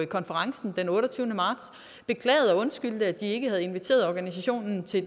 konferencen den otteogtyvende marts beklagede og undskyldte at det ikke havde inviteret organisationen til